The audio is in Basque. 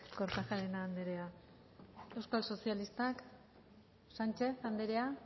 kortajarena anderea euskal sozialistak sánchez anderea